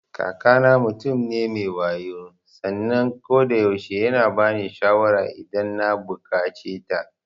Kakana mutum ne me wayo sannan kodayaushe yana bani shawara idan na buƙaceta.